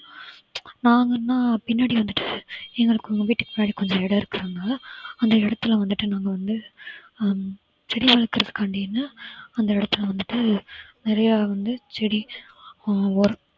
நாங்கன்னா பின்னாடி வந்துட்டு எங்களுக்கு உங்க வீட்டுக்கு பின்னாடி கொஞ்சம் இடம் இருக்குங்க அந்த இடத்துல வந்துட்டு நாங்க வந்து ஹம் செடி வளர்க்கறதுக்காண்டின்னு அந்த இடத்துல வந்துட்டு நிறைய வந்து செடி ஆஹ் உரம்